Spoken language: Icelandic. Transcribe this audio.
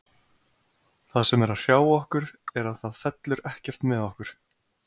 Það sem er að hrjá okkur er að það fellur ekkert með okkur.